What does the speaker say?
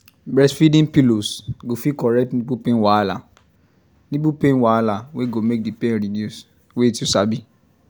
breastfeeding pillows go fit correct nipple pain wahala nipple pain wahala wey go make the pain reduce wait you sabi